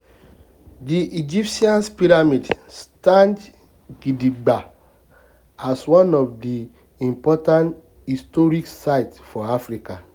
di egyptian pyramid stand gidigba as one of di of di important historic sites for africa